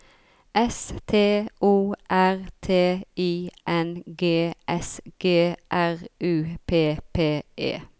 S T O R T I N G S G R U P P E